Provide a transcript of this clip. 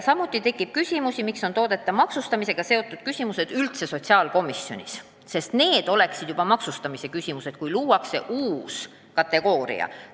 Samuti tekiks küsimusi, miks on toodete maksustamisega seotud küsimused üldse sotsiaalkomisjoni menetleda – need oleksid juba maksustamise küsimused, kui loodaks uus kategooria.